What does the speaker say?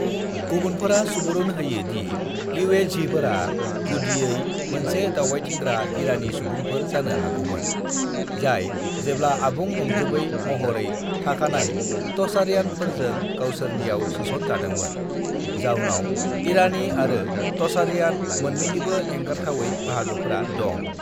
"गुबुनफोरा सुबुरुन होयो दि युएझीफोरा गुदियै मोनसे दावबायथिंग्रा इरानी सुबुंफोर जानो हागौमोन, जाय जेब्ला आबुं नंजोबै महरै थाखानाय टचारियानफोरजों गावसोरनियाव सोसन जादोंमोन, जाउनाव इरानी आरो टचारियान मोन्नैनिबो एंगारथावै बाहागोफोरा दं।"